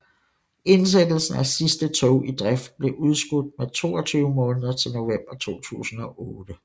Indsættelsen af sidste tog i drift blev udskudt med 22 måneder til november 2008